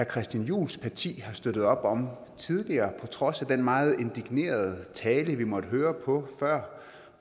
christian juhls parti har støttet op om tidligere på trods af den meget indignerede tale vi før måtte høre på